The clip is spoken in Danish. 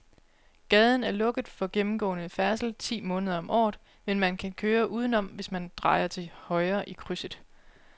Gaden er lukket for gennemgående færdsel ti måneder om året, men man kan køre udenom, hvis man drejer til højre i krydset.